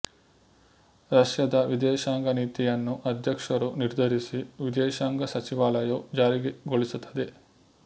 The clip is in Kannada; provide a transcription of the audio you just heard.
ರಷ್ಯಾದ ವಿದೇಶಾಂಗ ನೀತಿಯನ್ನು ಅಧ್ಯಕ್ಷರು ನಿರ್ಧರಿಸಿ ವಿದೇಶಾಂಗ ಸಚಿವಾಲಯವು ಜಾರಿಗೊಳಿಸುತ್ತದೆ